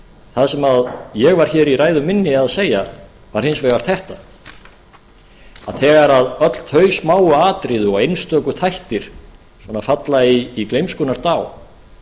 það sem ég var hér í ræðu minni að segja var hins vegar þetta að þegar öll þau smáu atriði og einstöku þættir svona falla í gleymskunnar dá